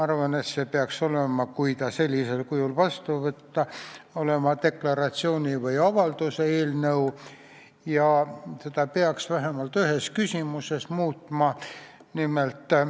Arvan, et see peaks olema deklaratsiooni või avalduse eelnõu ja seda peaks vähemalt ühes küsimuses muutma.